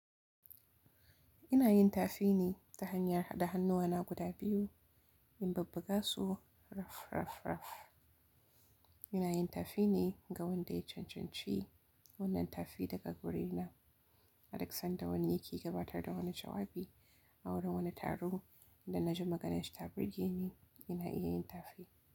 Ina yin tafi ne ta hanyar haɗa hannuwa na guda biyu, in bubbu ga su raf, raf, raf. Ina yin tafi ne ga wanda ya cancanci wannan tafi daga guri na. Aduk sanda wani yake gabatar da wani jawabi a wurin wani taro inda na ji maganarsa ta burge ni, ina iya yin tafi.